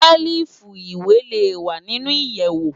Sèlifú iwé lé wá ninú iyèwó